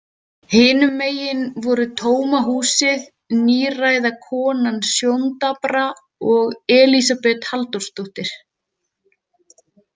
Hinum megin voru tóma húsið, níræða konan sjóndapra og Elísabet Halldórsdóttir.